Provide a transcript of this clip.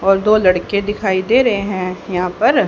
और दो लड़के दिखाई दे रहें हैं यहाँ पर--